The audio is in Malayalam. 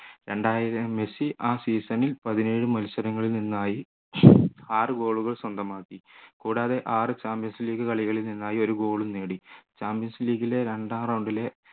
മെസ്സി ആ season ൽ പതിനേഴു മത്സരങ്ങളിൽ നിന്നായി ആറ് goal കൾ സ്വന്തമാക്കി കൂടാതെ ആറ് champions league കളികളിൽ നിന്നായി ഒരു goal ഉം നേടി champions league ലെ രണ്ടാം round ലെ